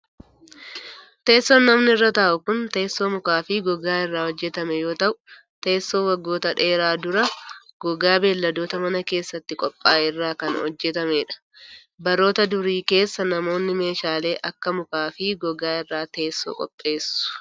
Teessoon namni irra taa'u kun, teessoo mukaa fi gogaa irraa hojjatame yoo ta'u, teessoo waggoota dheeraan dura gogaa beeyiladoota mana keessatti qophaa'e irraa kan hojjatamee dha. Baroota durii keessa namoonni, meeshaalee akka mukaa fi gogaa irraa teessoo qopheessu.